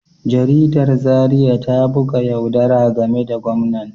Jaridar Zariya ta buga yaudara game da gwamnan